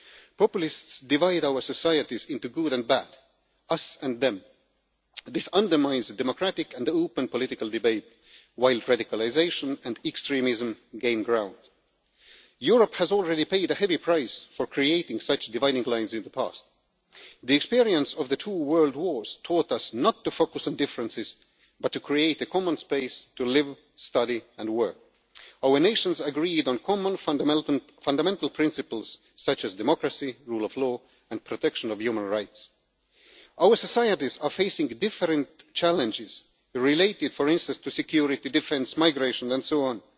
Populists divide our societies into good and bad, us and them. This undermines the democratic and open political debate, while radicalisation and extremism gain ground. Europe has already paid a heavy price for creating such dividing lines in the past. The experience of the two World Wars taught us not to focus on differences but to create a common space to live, study and work. Our nations agreed on common fundamental principles such as democracy, the rule of law and the protection of human rights. Our societies are facing different challenges, related for instance to security, defence, migration and